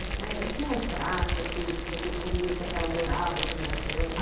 E tinha um prato, assim, que vocês comiam, que a senhora adorava quando era criança?